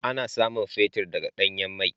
Ana samun fetir daga danyan mai.